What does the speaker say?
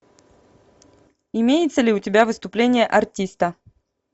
имеется ли у тебя выступление артиста